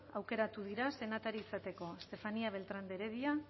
aukeratu dira senatari izateko estefanía beltrán de heredia